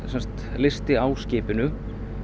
fenderlisti á skipinu